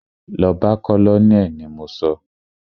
Lọ bá colonel ni mo sọ!